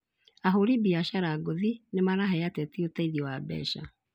Ahũri biacara ngũthi nĩmarahe ateti ũteithio wa mbeca